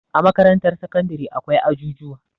a makarantar sakandare akwai ajujuwa